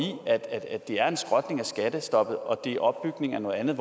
at det er en skrotning af skattestoppet og at det opbygning af noget andet